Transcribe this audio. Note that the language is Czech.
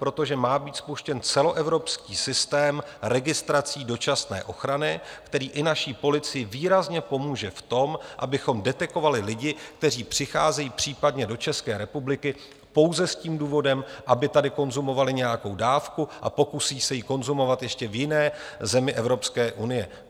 Protože má být spuštěn celoevropský systém registrací dočasné ochrany, který i naší policii výrazně pomůže v tom, abychom detekovali lidi, kteří přicházejí případně do České republiky pouze s tím důvodem, aby tady konzumovali nějakou dávku, a pokusí se ji konzumovat ještě v jiné zemi Evropské unie.